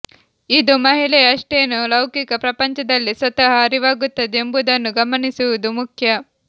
ಇದು ಮಹಿಳೆಯ ಅಷ್ಟೇನೂ ಲೌಕಿಕ ಪ್ರಪಂಚದಲ್ಲಿ ಸ್ವತಃ ಅರಿವಾಗುತ್ತದೆ ಎಂಬುದನ್ನು ಗಮನಿಸುವುದು ಮುಖ್ಯ